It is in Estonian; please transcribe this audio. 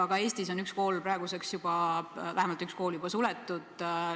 Ka Eestis on praeguseks juba vähemalt üks kool suletud.